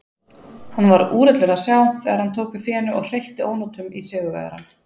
Hann var úrillur að sjá þegar hann tók við fénu og hreytti ónotum í sigurvegarann.